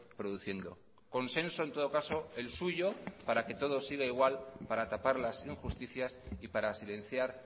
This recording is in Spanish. produciendo consenso en todo caso el suyo para que todo siga igual para tapar las injusticias y para silenciar